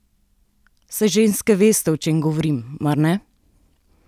Saj ženske veste, o čem govorim, mar ne?